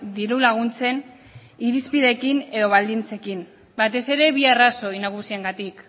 diru laguntzen irizpideekin edo baldintzekin batez ere bi arrazoi nagusiengatik